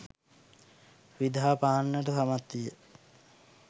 විදහා පාන්නට සමත් විය.